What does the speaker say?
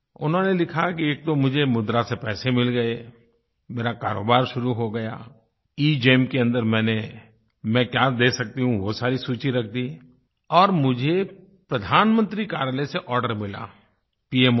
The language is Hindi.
उन्होंने लिखा कि एक तो मुझे मुद्रा से पैसे मिल गए मेरा कारोबार शुरू हो गया एगेम के अन्दर मैंने मैं क्या दे सकती हूँ वो सारी सूची रख दी और मुझे प्रधानमंत्री कार्यालय से आर्डर मिला पीएमओ से